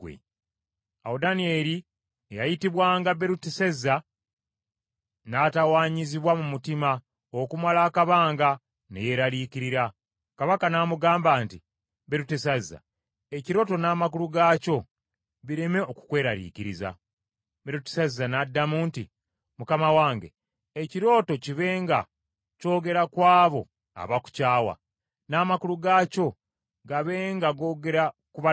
Awo Danyeri eyayitibwanga Berutesazza n’atawanyizibwa mu mutima okumala akabanga, ne yeeraliikirira. Kabaka n’amugamba nti, “Berutesazza, ekirooto n’amakulu gaakyo bireme okukweraliikiriza.” Berutesazza n’addamu nti, “Mukama wange, ekirooto kibe nga kyogera ku abo abakukyawa, n’amakulu gaakyo gabe nga googera ku balabe bo!